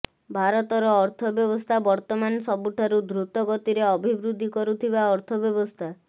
ଭାରତର ଅର୍ଥବ୍ୟବସ୍ଥା ବର୍ତ୍ତମାନ ସବୁଠାରୁ ଦୃତଗତିରେ ଅଭିବୃଦ୍ଧି କରୁଥିବା ଅର୍ଥ ବ୍ୟବସ୍ଥା